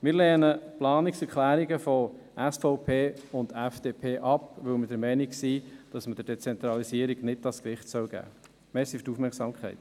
Wir lehnen die Planungserklärungen der SVP und FDP ab, weil wir der Meinung sind, dass man der Dezentralisierung nicht dieses Gewicht geben sollte.